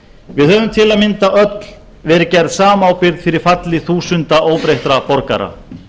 við höfum til að mynda öll verið gerð samábyrg fyrir falli þúsund óbreyttra borgara